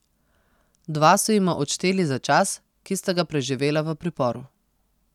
Dva so jima odšteli za čas, ki sta ga preživela v priporu.